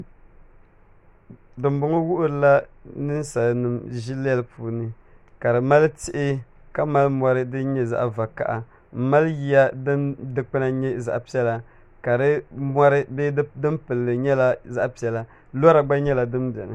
din m-bɔŋɔ wuhirila ninsalanima ʒilɛli puuni ka di mali tihi ka mali mori din nyɛ zaɣ' vakaha m mali yiya din dikpuna nyɛ zaɣ' piɛlla ka di mori bee din pili li gba nyɛ zaɣ' piɛla lɔra gba nyɛla din beni